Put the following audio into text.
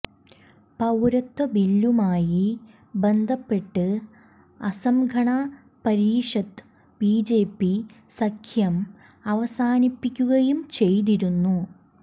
പൌരത്വ ബില്ലുമായി ബന്ധപ്പെട്ട് അസം ഗണ പരീഷത്ത് ബിജെപി സഖ്യം അവസാനിപ്പിക്കുകയും ചെയ്തിരുന്നു